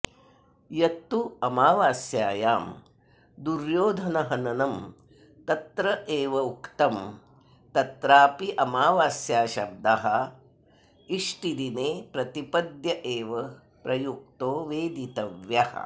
यत्तु अमावास्यायां दुर्योधनहननं तत्रैवोक्तं तत्राप्यमावास्याशब्द इष्टिदिने प्रतिपद्येव प्रयुक्तो वेदितव्यः